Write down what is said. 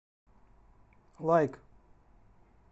лайк